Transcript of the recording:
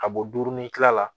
Ka bɔ dumuni kila la